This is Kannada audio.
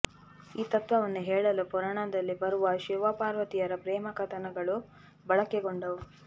ಈ ತತ್ವವನ್ನು ಹೇಳಲು ಪುರಾಣದಲ್ಲಿ ಬರುವ ಶಿವಪಾರ್ವತಿಯರ ಪ್ರೇಮ ಕಥಾನಕಗಳು ಬಳಕೆಗೊಂಡವು